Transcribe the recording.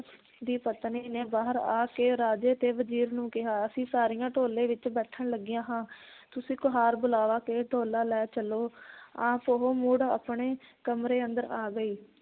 ਦੀ ਪਤਨੀ ਨੇ ਬਾਹਰ ਆ ਕੇ ਰਾਜੇ ਤੇ ਵਜ਼ੀਰ ਨੂੰ ਕਿਹਾ ਅਸੀਂ ਸਾਰੀਆਂ ਢੋਲੇ ਵਿਚ ਬੈਠਣ ਲੱਗੀਆਂ ਹਾਂ ਤੁਸੀਂ ਕੁਹਾਰ ਬੁਲਾ ਕੇ ਢੋਲਾ ਲੈ ਚੱਲੋ ਆਪ ਉਹ ਮੁੜ ਆਪਣੇ ਕਮਰੇ ਅੰਦਰ ਆ ਗਈ